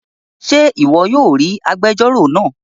Ṣe ìwò yóò ríi àgbèjọro náa